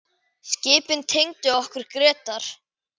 Skipin tengdu okkur Grétar.